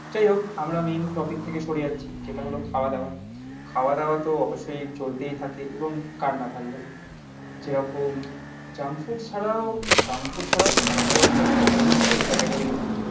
যাই হোক আমরা মেন টপিক থেকে সরে যাচ্ছি. যেটা হলো খাওয়া দাওয়া. খাওয়া দাওয়া তো অবশ্যই চলতেই থাকে এবং কার না ভালো লাগে যেরকম জাঙ্ক ফুড ছাড়াও জাঙ্ক ফুড ছাড়াও খাওয়া দাওয়ার তো কতগুলো ক্যারেক্ট ক্যাটাগরিও হয়.